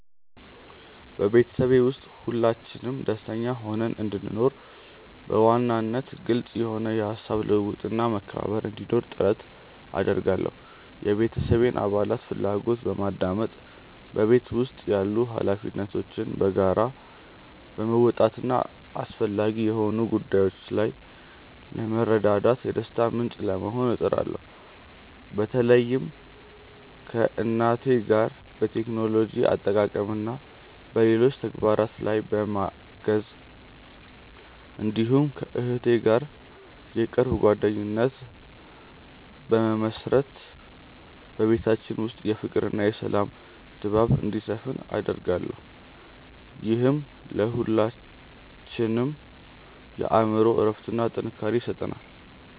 በቤተሰቤ ውስጥ ሁላችንም ደስተኛ ሆነን እንድንኖር፣ በዋናነት ግልጽ የሆነ የሐሳብ ልውውጥና መከባበር እንዲኖር ጥረት አደርጋለሁ። የቤተሰቤን አባላት ፍላጎት በማድመጥ፣ በቤት ውስጥ ያሉ ኃላፊነቶችን በጋራ በመወጣትና አስፈላጊ በሆኑ ጉዳዮች ላይ በመረዳዳት የደስታ ምንጭ ለመሆን እጥራለሁ። በተለይም ከእናቴ ጋር በቴክኖሎጂ አጠቃቀምና በሌሎች ተግባራት ላይ በማገዝ፣ እንዲሁም ከእህቴ ጋር የቅርብ ጓደኝነት በመመሥረት በቤታችን ውስጥ የፍቅርና የሰላም ድባብ እንዲሰፍን አደርጋለሁ። ይህም ለሁላችንም የአእምሮ እረፍትና ጥንካሬ ይሰጠናል።